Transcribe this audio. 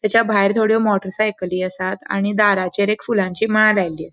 त्याच्या भायर थोड्यो मोटर साइकली आसात आणि दारांचेर एक फुलांची माळ लायलेली अ --